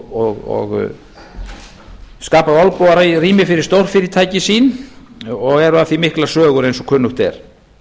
lofum og skapað olnbogarými fyrir stórfyrirtæki sín og er af því miklar sögur eins og kunnugt er